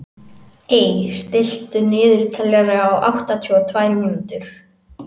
Ey, stilltu niðurteljara á áttatíu og tvær mínútur.